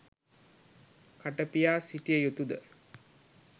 කට පියා සිටිය යුතුද?